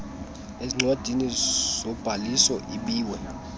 ezincwadini zobhaliso ibiwe